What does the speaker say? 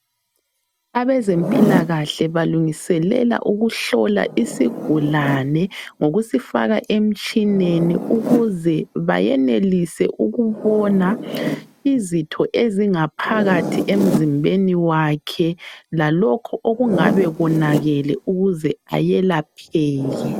Abezempilakahle balungiselela ukuhlola isigulane ngokusifaka emtshineni ukuze bayenelise ukubona izitho ezingaphakathi emzimbeni wakhe lalokho okungabe konakele ukuze ayelapheke.